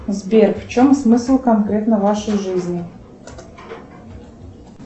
сбер в чем смысл конкретно вашей жизни